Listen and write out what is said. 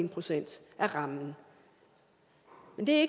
procent af rammen men det